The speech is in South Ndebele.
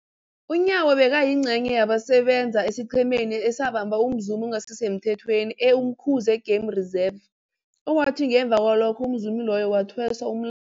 UNyawo bekayingcenye yabasebenza esiqhemeni esabamba umzumi ongasisemthethweni e-Umkhuze Game Reserve, owathi ngemva kwalokho umzumi loyo wathweswa umla